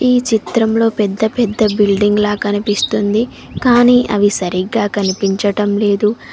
ఈ చిత్రంలో పెద్ద పెద్ద బిల్డింగ్ లా కనిపిస్తుంది కానీ అవి సరిగ్గా కనిపించటం లేదు.